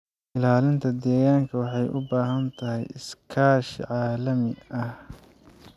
Ilaalinta deegaanka waxay u baahan tahay iskaashi caalami ah.